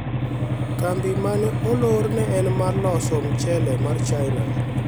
kambi mane olor ne en mar loso mchele mar china